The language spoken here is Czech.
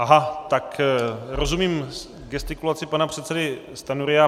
Aha, tak rozumím gestikulaci pana předsedy Stanjury.